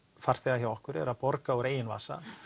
farþega hjá okkur er að borga úr eigin vasa